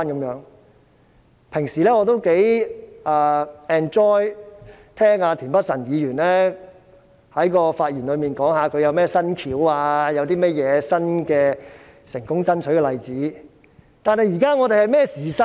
我平日也頗享受聆聽田北辰議員在其發言中講述他有甚麼新方案或成功爭取的例子，但我們現正處於甚麼時勢呢？